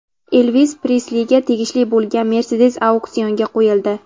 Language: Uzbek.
Elvis Presliga tegishli bo‘lgan Mercedes auksionga qo‘yildi.